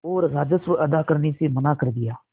और राजस्व अदा करने से मना कर दिया